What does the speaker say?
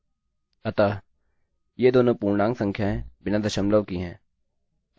अतः ये दोनों पूर्णांक संख्याएँ बिना दशमलव की हैं